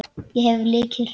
Ég hef lykil.